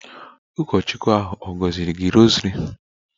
Ụkọchukwu ahụ ọ̀ gọziri gị rosary?